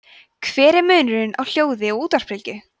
hver er munurinn á hljóði og útvarpsbylgjum